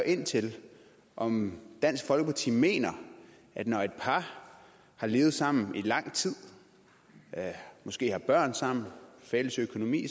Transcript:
ind til om dansk folkeparti mener at når et par har levet sammen i lang tid og måske har børn sammen og fælles økonomi